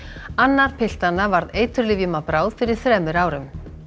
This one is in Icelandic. annar piltanna varð eiturlyfjum að bráð fyrir þremur árum